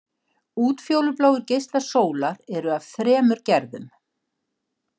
Útfjólubláir geislar sólar eru af þremur gerðum.